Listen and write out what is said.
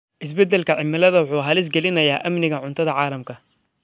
Isbeddelka cimilada wuxuu halis gelinayaa amniga cuntada ee caalamka.